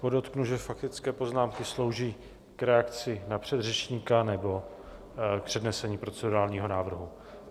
Podotknu, že faktické poznámky slouží k reakci na předřečníka nebo k přednesení procedurálního návrhu.